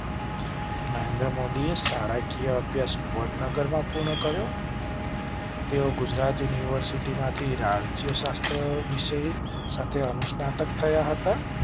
નરેન્દ્ર મોદીએ શાળા કીય અભ્યાસ વડનગરમાં પૂર્ણ કર્યો. તેઓ ગુજરાત યુનિવર્સિટી માંથી રાજયશાસ્ત્ર વિષય સાથે અનુસ્નાતક થયા હતા.